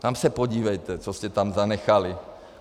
Tam se podívejte, co jste tam zanechali.